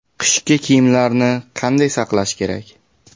Qishki kiyimlarni qanday saqlash kerak?.